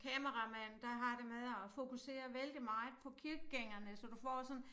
Kameramand der har det med at fokusere vældig meget på kirkegængerne så du får sådan